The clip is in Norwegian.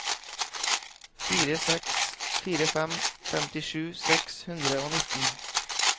fire seks fire fem femtisju seks hundre og nitten